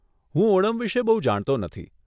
હું ઓનમ વિષે બહુ જાણતો નથી.